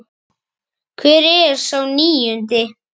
Hvar er sá níundi?